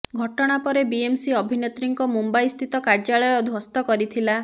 ଘଟଣା ପରେ ବିଏମସି ଅଭିନେତ୍ରୀଙ୍କ ମୁମ୍ବାଇ ସ୍ଥିତ କାର୍ଯ୍ୟାଳୟ ଧ୍ୱସ୍ତ କରିଥିଲା